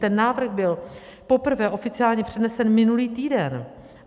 Ten návrh byl poprvé oficiálně přednesen minulý týden.